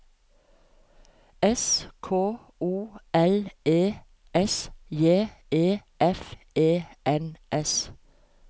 S K O L E S J E F E N S